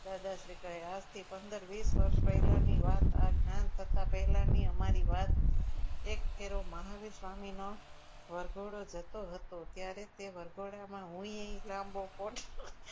દાદા શ્રી કહે આજથી પંદર વીસ વર્ષ ની વાત આપ જાણો પહેલાની અમારી વાત એક ફેરો મહાવીર સ્વામીનો વરઘોડો જતો હતો ત્યારે તે વરઘોડામાં હું લાંબો coat